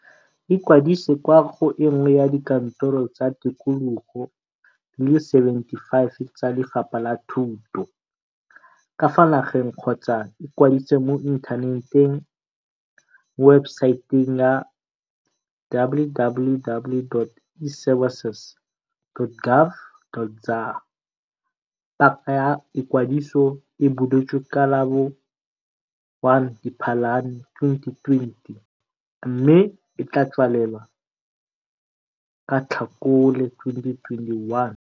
Ikwadise kwa go e nngwe ya dikantoro tsa tikologo di le 75 tsa Lefapha la Thuto ka fa nageng kgotsa ikwadise mo inthaneteng mo webesaeteng ya - www.eservices.gov. za. Paka ya ikwadiso e buletswe ka la bo 1 Diphalane 2020 mme e tla tswalelwa ka Tlhakole 2021.